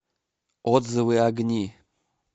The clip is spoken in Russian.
отзывы огни